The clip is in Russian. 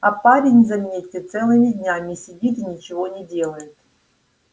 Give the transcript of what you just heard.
а парень заметьте целыми днями сидит и ничего не делает